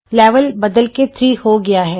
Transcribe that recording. level ਬਦਲ ਕੇ 3 ਹੋ ਗਿਆ ਹੈ